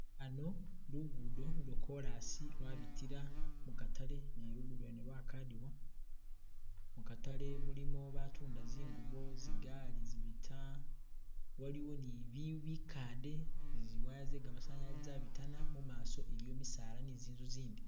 Hano lugudo lwo kolasi lwabitila mu katale, ne lugudo lwene lwakadiwa, mukatale mulimo batunda zingubo, zigali zibita, waliwo ni biyu bikande, niziwaya ze gamasanyalaze zabitana, mumaso iliyo misaala ni zinzu zindi